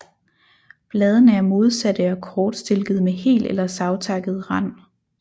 Bladene er modsatte og kortstilkede med hel eller savtakket rand